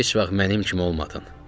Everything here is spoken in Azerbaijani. Heç vaxt mənim kimi olmadın.